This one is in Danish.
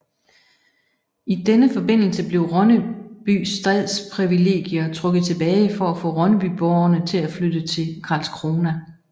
I denne forbindelse blev Ronnebys stadsprivilegier trukket tilbage for at få Ronnebyborgerne til at flytte til Karlskrona